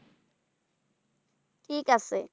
ঠিক আছে।